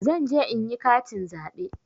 Zanje inyi katin zaɓe